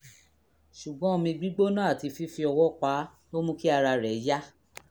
ṣùgbọ́n omi gbígbóná àti fífi ọwọ́ pa á ló mú kí ara rẹ̀ yá